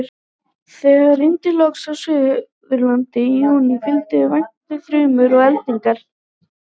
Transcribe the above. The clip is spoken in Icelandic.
Þegar rigndi loks á Suðurlandi í júlí, fylgdu vætunni þrumur og eldingar.